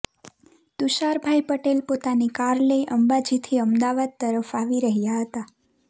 તુષારભાઈ પટેલ પોતાની કાર લઈ અંબાજીથી અમદાવાદ તરફ આવી રહ્યા હતા